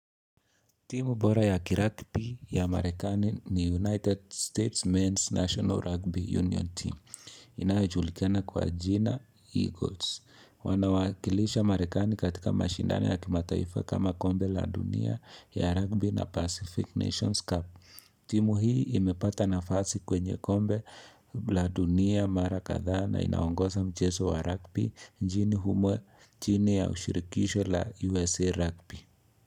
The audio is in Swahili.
Timu bora ya kiragpi ya marekani ni United States Men's National Rugby Union team inayojulikina kwa jina Eagles wanawakilisha marekani katika mashindano ya kimataifa kama kombe la dunia ya rugby na Pacific Nations Cup timu hii imepata nafasi kwenye kombe la dunia mara kadhaa na inaongosa mcheso wa rugby njini humwe jini ya ushirikisho la USA Rugby.